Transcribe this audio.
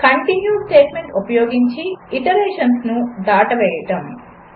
continue statement ఉపయోగించి iterations దాటవేయడం 4